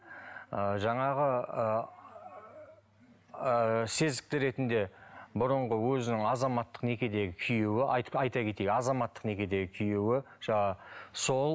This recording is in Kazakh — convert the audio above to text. ы жаңағы ыыы сезікті ретінде бұрынғы өзінің азаматтық некедегі күйеуі айта кетейік азаматтық некедегі күйеуі жаңағы сол